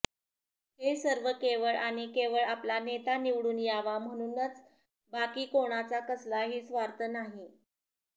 हे सर्व केवळ आणि केवळ आपला नेता निवडून यावा म्हणूनच बाकी कोणाचा कसलाही स्वार्थ नाही